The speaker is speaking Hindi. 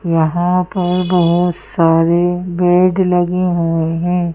यहाँ पर बहुत सारे बेड लगे हुए हैं।